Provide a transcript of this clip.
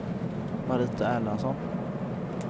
Marita Erlandsson